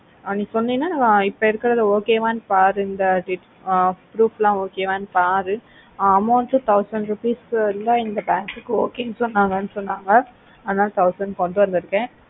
ஆஹ் நீ சொன்னேனா இப்போ இருக்குறதுலா okay வா பாரு இந்த proof ல okay ஆஹ் பாரு amount thousand rupees இருந்த இந்த bank கு okay சொன்னாங்கனு சொன்னாங்க அதுனால thousand கொண்டு வந்துருக்கா